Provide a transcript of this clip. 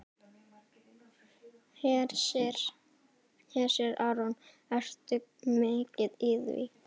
Hersir Aron: Ertu mikið í því?